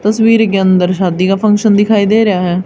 तस्वीर के अंदर शादी का फंक्शन दिखाई दे रहा है।